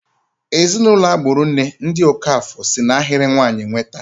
Ezinụlọ agburu nne, ndị Okafor, si n'ahịrị nwanyị nweta.